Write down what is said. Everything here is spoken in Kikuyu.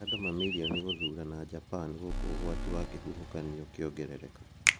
Andũ mamirioni gũthurana Japan gũkũ ũgwati wa kĩhuhũkanio ũkĩongerereka.